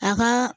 A ka